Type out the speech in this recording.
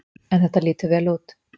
En þetta lítur vel út.